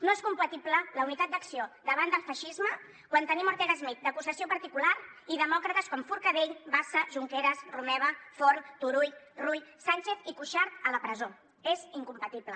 no és compatible la unitat d’acció davant del feixisme quan tenim ortega smith d’acusació particular i demòcrates com forcadell bassa junqueras romeva forn turull rull sànchez i cuixart a la presó és incompatible